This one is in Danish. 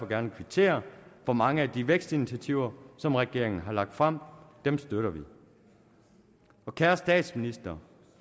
gerne kvittere for mange af de vækstinitiativer som regeringen har lagt frem dem støtter vi kære statsminister